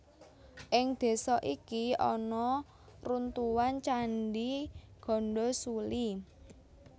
Ing désa iki ana runtuhan Candhi Gandasuli